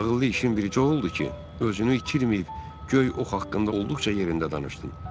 Ağıllı işin bircə oldu ki, özünü itirməyib, göy ox haqqında olduqca yerində danışdın.